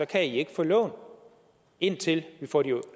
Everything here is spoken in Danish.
kan ikke få lån indtil vi får de